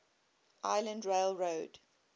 island rail road